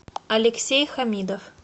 алексей хамидов